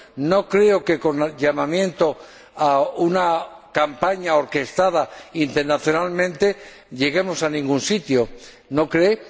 No creo que hablando de una campaña orquestada internacionalmente lleguemos a ningún sitio, ¿no cree?